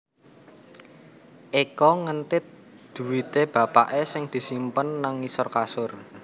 Eko ngentit dhuwite bapake sing disimpen nang ngisor kasur